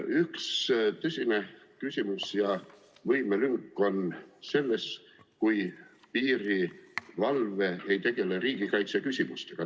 Üks tõsine küsimus ja võimelünk on, kui piirivalve ei tegele riigikaitse küsimustega.